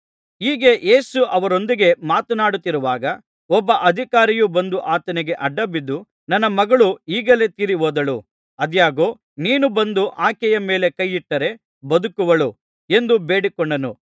ಹೀಗೆ ಯೇಸು ಅವರೊಂದಿಗೆ ಮಾತನಾಡುತ್ತಿರುವಾಗ ಒಬ್ಬ ಅಧಿಕಾರಿಯು ಬಂದು ಆತನಿಗೆ ಅಡ್ಡಬಿದ್ದು ನನ್ನ ಮಗಳು ಈಗಲೇ ತೀರಿಹೋದಳು ಆದಾಗ್ಯೂ ನೀನು ಬಂದು ಆಕೆಯ ಮೇಲೆ ಕೈ ಇಟ್ಟರೆ ಬದುಕುವಳು ಎಂದು ಬೇಡಿಕೊಂಡನು